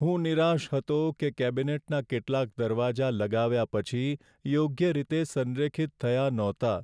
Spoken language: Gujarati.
હું નિરાશ હતો કે કેબિનેટના કેટલાક દરવાજા લગાવ્યા પછી યોગ્ય રીતે સંરેખિત થયા ન હતા.